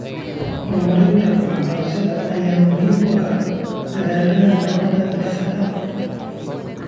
Horumarinta waxbarashada ayaa muhiim u ah dadaallada nabad-dhisidda .